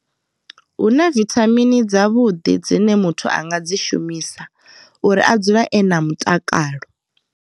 Hu na vithamini dzavhuḓi dzine muthu a nga dzi shumisa uri a dzule e na mutakalo.